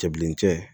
Cɛ bilencɛ